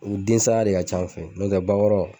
U densaya de ka ca n fɛ n'o tɛ bakɔrɔ